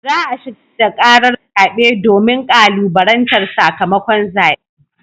Za a shigar da karar zabe domin kalubalantar sakamakon zaben.